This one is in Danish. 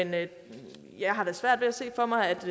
men jeg har da svært ved at se for mig